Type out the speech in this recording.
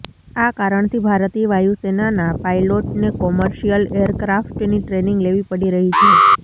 આ કારણથી ભારતીય વાયુસેનાનાં પાયલોટને કોમર્શિયલ એરક્રાફ્ટની ટ્રેનિંગ લેવી પડી રહી છે